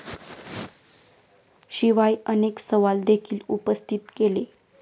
शिवाय अनेक सवाल देखील उपस्थित केले.